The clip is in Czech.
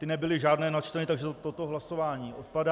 Ty nebyly žádné načteny, takže toto hlasování odpadá.